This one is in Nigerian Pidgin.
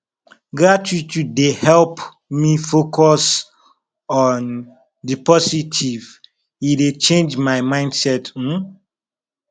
gratitude dey help me focus on di positive e dey change my mindset um